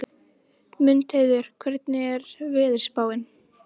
Mundheiður, hvernig er veðurspáin?